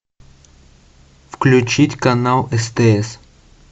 включить канал стс